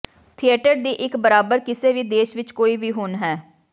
theatre ਦੀ ਇੱਕ ਬਰਾਬਰ ਕਿਸੇ ਵੀ ਦੇਸ਼ ਵਿਚ ਕੋਈ ਵੀ ਹੁਣ ਹੈ